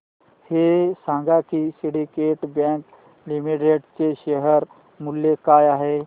हे सांगा की सिंडीकेट बँक लिमिटेड चे शेअर मूल्य काय आहे